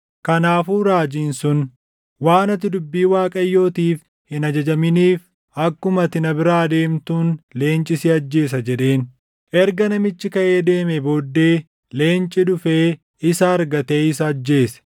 Kanaafuu raajiin sun, “Waan ati dubbii Waaqayyootiif hin ajajamniif akkuma ati na biraa deemtuun leenci si ajjeesa” jedheen. Erga namichi kaʼee deemee booddee leenci dhufee isa argate isa ajjeese.